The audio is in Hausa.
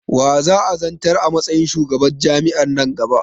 Wa za'a zantar a matsayin shugaban jam'i'an nan gaba?